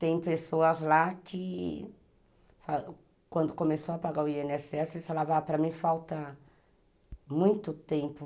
Tem pessoas lá que quando começou a pagar o i ene esse esse, isso lá para mim falta muito tempo.